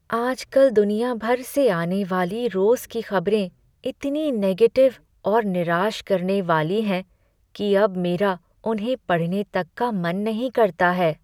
आजकल दुनिया भर से आने वाली रोज़ की खबरें इतनी नेगेटिव और निराश करने वाली हैं कि अब मेरा उन्हें पढ़ने तक का मन नहीं करता है।